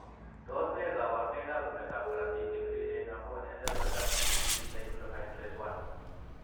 Tos nee koborunoikab rorunetab korotik chebiriren amun en rorunetab GTP cyclohydrolase I ?